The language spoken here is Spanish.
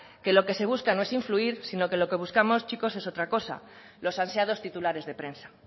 que lo que se busca no es influir sino que lo que buscamos chicos es otra cosa los ansiados titulares de prensa